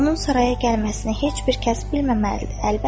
Xeyr, onun saraya gəlməsini heç bir kəs bilməməlidir.